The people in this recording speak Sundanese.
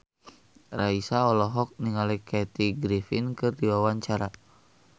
Raisa olohok ningali Kathy Griffin keur diwawancara